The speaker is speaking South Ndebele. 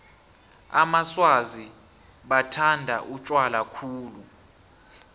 amaswazi bathanda utjwala khulu